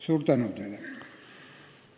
Suur tänu teile!